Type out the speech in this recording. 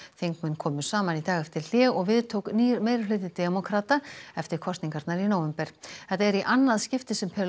þingmenn komu saman í dag eftir hlé og við tók nýr meirihluti demókrata eftir kosningarnar í nóvember þetta er í annað skipti sem